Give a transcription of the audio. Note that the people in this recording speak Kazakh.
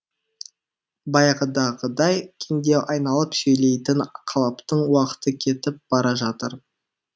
баяғыдағыдай кеңдеу айналып сөйлейтін қалыптың уақыты кетіп бара жатыр